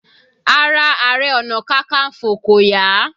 Ara Ààrẹ ọna kankanfo kò yá.